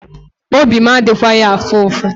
Obi m adịghịkwa afụ ụfụ.